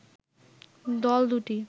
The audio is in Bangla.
দল দুটি